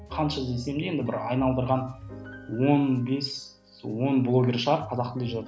қанша іздесем де енді бір айналдырған он бес он блогер шығар қазақ тілінде